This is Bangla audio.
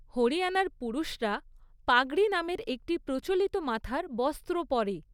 হরিয়ানার পুরুষরা পাগড়ি নামের একটি প্রচলিত মাথার বস্ত্র পরে।